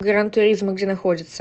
гран туризмо где находится